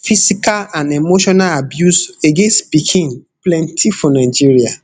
physical and emotional abuse against pikin plenti for nigeria